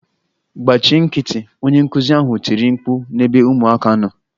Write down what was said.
Gbachi nkịtị! Onye nkụzi ahụ tiri mkpu n'ebe ụmụaka nọ